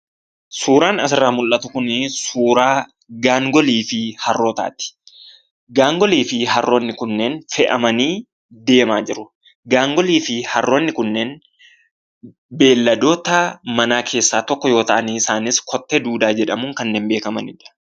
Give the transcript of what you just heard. Suuraan asirraa mul'atu kuni suuraa gaangoliifi harrootaati. Gaangolifi harroonni kunneen fe'amanii deemaa jiru. Gaangoliifi harroonni kunneen beyladoota manaa keessaa tokko yoo ta'an, isaaniis kottee duudaa jedhamuun kanneen beekamanidha.